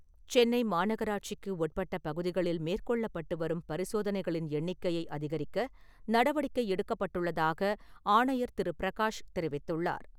சென்னை மாநகராட்சிக்கு உட்பட்ட பகுதிகளில் மேற்கொள்ளப்பட்டு வரும் பரிசோதனைகளின் எண்ணிக்கையை அதிகரிக்க நடவடிக்கை எடுக்கப்பட்டுள்ளதாக ஆணையர் திரு பிரகாஷ் தெரிவித்துள்ளார்.